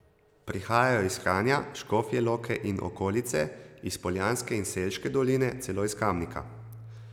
Prihajajo iz Kranja, Škofje Loke in okolice, iz Poljanske in Selške doline, celo iz Kamnika.